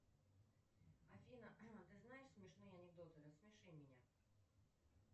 афина ты знаешь смешные анекдоты рассмеши меня